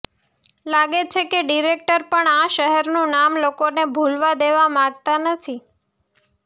લાગે છે કે ડિરેક્ટર પણ આ શહેરનું નામ લોકોને ભૂલવા દેવા માગતા નથી